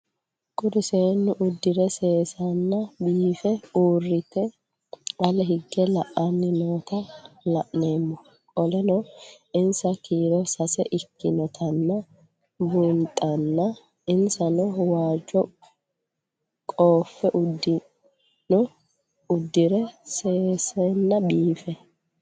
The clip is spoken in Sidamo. Kuri seenu udire sesena biife urite ale hige la'ani noota la'nemo qoleno insa kiiro sase ikinotana bunxana insano waajo qofe udune udire sesena biife